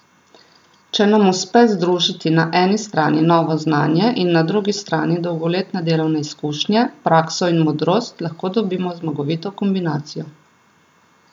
Če nam uspe združiti na eni strani novo znanje in na drugi strani dolgoletne delovne izkušnje, prakso in modrost, lahko dobimo zmagovito kombinacijo.